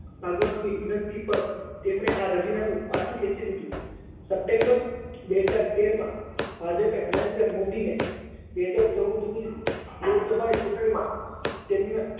ભાગવતની વિનંતિ પર તેમણે આ રાજીનામું પાછું ખેંચી લીધું સપ્ટેમ્બર બે હાજર તેર માં ભાજપે નરેન્દ્ર મોદીને બે હાજર ચૌદની લોકસભાની ચુંટણીમાં તેમના